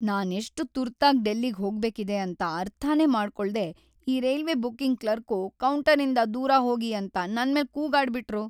ನಾನ್‌ ಎಷ್ಟ್‌ ತುರ್ತಾಗ್‌ ಡೆಲ್ಲಿಗ್‌ ಹೋಗ್ಬೇಕಿದೆ ಅಂತ ಅರ್ಥನೇ ಮಾಡ್ಕೋಳ್ದೇ ಈ ರೈಲ್ವೇ ಬುಕಿಂಗ್‌ ಕ್ಲರ್ಕು ಕೌಂಟರಿಂದ ದೂರ ಹೋಗಿ ಅಂತ ನನ್ಮೇಲ್‌ ಕೂಗಾಡ್ಬಿಟ್ರು.